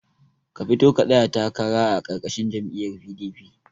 Ka fito ka tsaya takara a karkashin jam'iyar PDP